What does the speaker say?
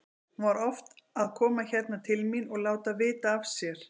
Hún var oft að koma hérna til mín og láta vita af sér.